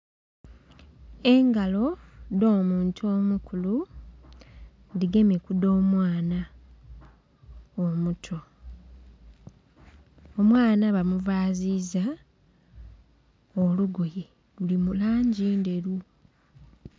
Engalo dh'omuntu omukulu, dhigemye ku dh'omwana omuto. Omwana bamuvaziiza olugoye luli mu langi ndheru.